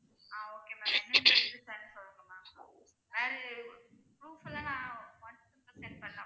ஆஹ் okay ma'am எந்தெந்த இது send பண்ணனும் ma'am proof எல்லாம் நான் வாட்ஸ்ஆப்ல send பண்ணலாமா